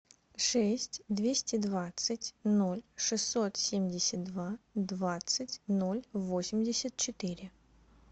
шесть двести двадцать ноль шестьсот семьдесят два двадцать ноль восемьдесят четыре